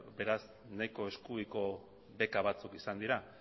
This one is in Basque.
beraz nahiko eskubiko beka batzuk izan dira